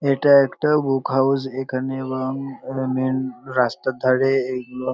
এটা একটা book house. এখানে এবং মেন রাস্তার ধারে এইগুলো।